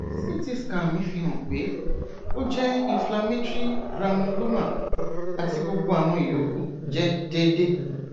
ct scan mi fihan pe o jẹ inflammatory gramuloma ati gbogbo awọn iyokù jẹ deede